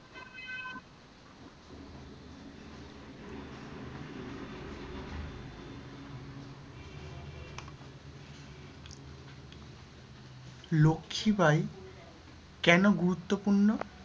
লক্ষীবাঈ কেন গুরুত্তপূর্ণ?